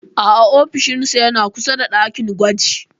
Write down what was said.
A'a ofishinsa yana kusa da ɗakin gwaji.